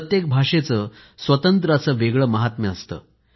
प्रत्येक भाषेचं स्वतंत्र असं वेगळं महात्म्य असतं